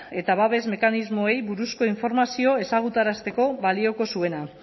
eta babes mekanismoei buruzko informazio ezagutarazteko balioko zuena